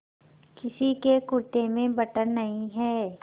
किसी के कुरते में बटन नहीं है